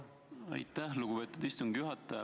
Aitäh, lugupeetud istungi juhataja!